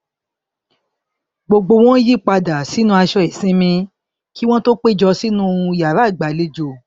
gbogbo wọn yí padà sínú aṣọ ìsinmi kí wọn tó péjọ sínú yàrá ìgbàlejò